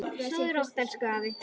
Sofðu rótt elsku afi minn.